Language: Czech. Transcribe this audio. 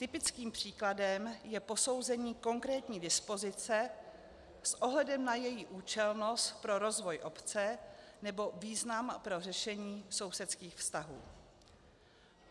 Typickým příkladem je posouzení konkrétní dispozice s ohledem na její účelnost pro rozvoj obce nebo význam pro řešení sousedských vztahů.